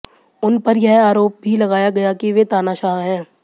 उन पर यह आरोप भी लगाया गया कि वे तानाशाह हैं